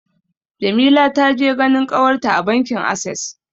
Jamila ta je ganin ƙawarta a bankin Ases.